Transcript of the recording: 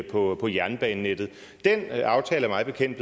på på jernbanenettet den aftale er mig bekendt